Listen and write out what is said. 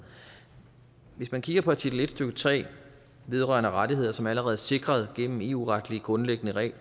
hvis man kigger på artikel en stykke tre vedrørende rettigheder som allerede er sikret gennem eu retlige grundlæggende